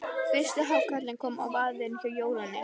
Fyrsti hákarlinn kom á vaðinn hjá Jórunni.